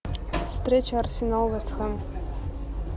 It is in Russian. встреча арсенал вест хэм